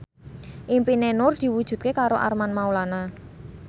impine Nur diwujudke karo Armand Maulana